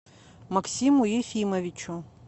максиму ефимовичу